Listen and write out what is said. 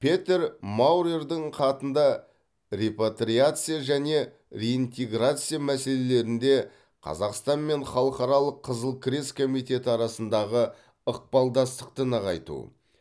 петер маурердің хатында репатриация және реинтеграция мәселелерінде қазақстан мен халықаралық қызыл крест комитеті арасындағы ықпалдастықты нығайту